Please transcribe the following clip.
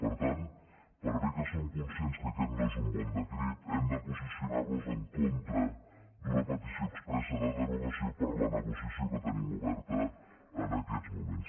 per tant per bé que som conscients que aquest no és un bon decret hem de posicionar nos en contra d’una petició expressa de derogació per la negociació que tenim oberta en aquests moments